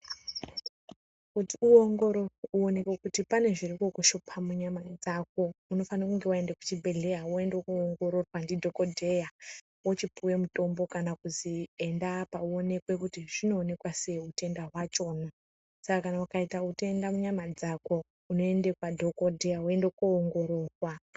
Kuti uongororwe uonekwe kuti pane zviri kukushupa munyama dzako unofanirwa kunge waenda kuzvibhedhleya woenda koongorirwa ndidhokodheya wochipuwa mutombo kana kuzi enda apa uonekwe kuti zvinoonekwa sei utenda hwachona saka kana ukaita utenda munyama dzako unoenda kwadhokodheya woenda koongororwa.